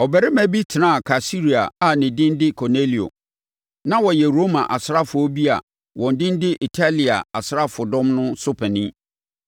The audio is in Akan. Ɔbarima bi tenaa Kaesarea a ne din de Kornelio. Na ɔyɛ Roma asraafoɔ bi a wɔn din de Italia Asraafodɔm no so panin.